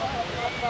Qardaşım.